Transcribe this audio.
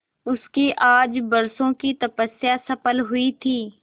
उसकी आज बरसों की तपस्या सफल हुई थी